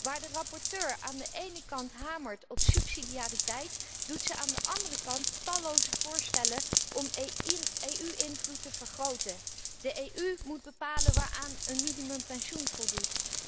Waar de rapporteur aan de ene kant hamert op subsidiariteit, doet zij aan de andere kant talloze voorstellen om EU invloed te vergroten. De EU moet bepalen waaraan een minimum pensioen voldoet.